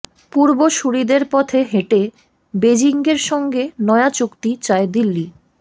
পূর্বসূরিদের পথে হেঁটে বেজিংয়ের সঙ্গে নয়া চুক্তি চায় দিল্লি